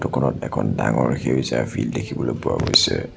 কোণত এখন ডাঙৰ সেউজীয়া ফিল্ড দেখিবলৈ পোৱা গৈছে।